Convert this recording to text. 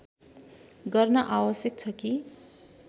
गर्न आवश्यक छ कि